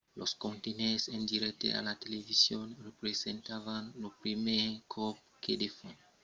los comentaris en dirècte a la television representavan lo primièr còp que de fons nautas iranianas avián admés que las sancions avián d'efièches